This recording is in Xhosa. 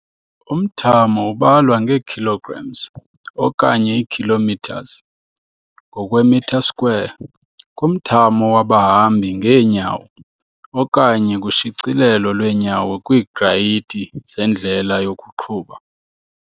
Umthamo ubalwa nge-kg okanye i-km ngokwem², kumthamo wabahambi ngeenyawo, okanye kushicilelo lweenyawo kwiigrayiti zendlela yokuqhuba.